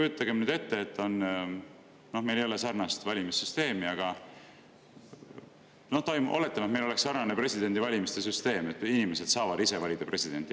Meil ei ole küll sarnast valimissüsteemi, aga oletame, et meil oleks sarnane presidendivalimiste süsteem ja inimesed saavad ise valida presidenti.